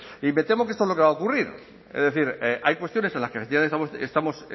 y me temo que esto es lo que va a ocurrir es decir hay cuestiones en las que estamos